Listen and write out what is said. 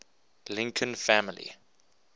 lincoln family